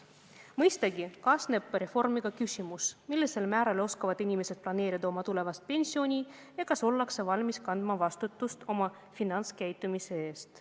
Mõistagi kaasneb reformiga küsimus, millisel määral oskavad inimesed planeerida oma tulevast pensioni ja kas ollakse valmis kandma vastutust oma finantskäitumise eest.